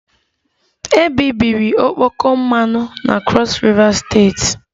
Ebibiri okpoko mmanụ na Crọs Riva steeti